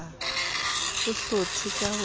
bo hlothe ka ho sa